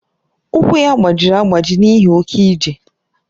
Ụkwụ ya gbajiri agbaji n'ihi oke ije.